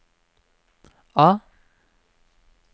A